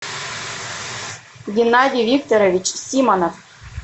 геннадий викторович симонов